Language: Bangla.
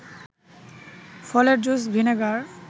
ফলের জুস, ভিনেগার